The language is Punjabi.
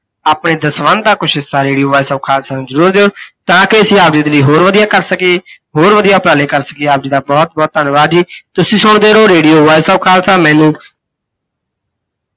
ਆਪਣੇ ਜੋ ਸੰਬੰਧ ਆ ਕੁੱਝ ਹਿਸਾ radio voice of khalsa ਨੂੰ ਜਰੂਰ ਦਿਓ, ਤਾਂ ਕਿ ਅਸੀਂ ਆਪ ਜੀ ਦੇ ਲਈ ਹੋਰ ਵੱਧੀਆ ਕਰ ਸਕੀਏ ਜੀ, ਹੋਰ ਵੱਧੀਆ ਉਪਰਾਲੇ ਕਰ ਸਕੀਏ। ਆਪ ਜੀ ਦਾ ਬਹੁਤ ਬਹੁਤ ਧੰਨਵਾਦ ਜੀ। ਤੁਸੀਂ ਸੁਣਦੇ ਰਹੋ radio voice of ਖਾਲਸਾ, ਮੈਨੂੰ